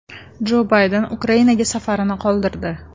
Jo Bayden Ukrainaga safarini qoldirdi.